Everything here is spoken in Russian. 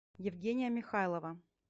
евгения михайлова